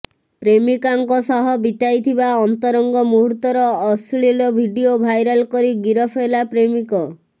ପ୍ରେମିକାଙ୍କ ସହ ବିତାଇଥିବା ଅନ୍ତରଙ୍ଗ ମୂହୁର୍ତ୍ତର ଅଶ୍ଳୀଳ ଭିଡିଓ ଭାଇରାଲ୍ କରି ଗିରଫ ହେଲା ପ୍ରେମିକ